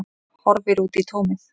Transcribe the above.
Horfir út í tómið.